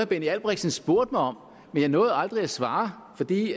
benny albrechtsen spurgte mig om men jeg nåede aldrig at svare fordi